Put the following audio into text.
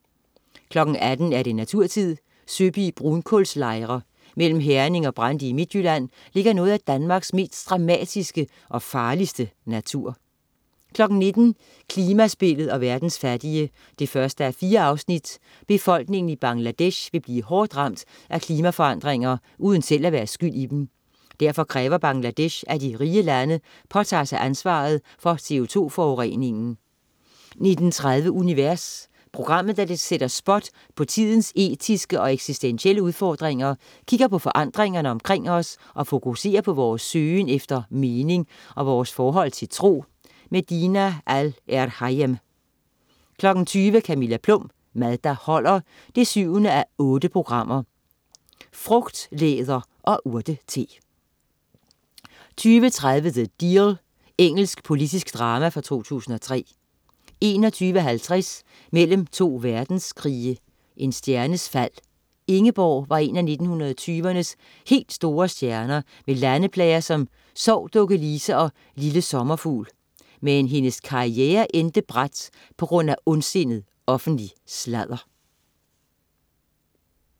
18.00 Naturtid. Søby Brunkulslejre. Mellem Herning og Brande i Midtjylland ligger noget af Danmarks mest dramatiske og farligste natur 19.00 Klimaspillet og verdens fattige 1:4. Befolkningen i Bangladesh vil blive hårdt ramt af klimaforandringer, uden selv at være skyld i dem. Derfor kræver Bangladesh, at de rige lande påtager sig ansvaret for CO2-forureningen 19.30 Univers. Programmet sætter spot på tidens etiske og eksistentielle udfordringer, kigger på forandringerne omkring os og fokuserer på vores søgen efter mening og vores forhold til tro. Dina Al-Erhayem 20.00 Camilla Plum. Mad der holder 7:8. Frugtlæder og urtete 20.30 The Deal. Engelsk politisk drama fra 2003 21.50 Mellem to verdenskrige. En stjernes fald. Ingeborg var en af 1920'ernes helt store stjerner med landeplager som "Sov dukke Lise" og "Lille Sommerfugl". Men hendes karriere endte brat på grund af ondsindet offentlig sladder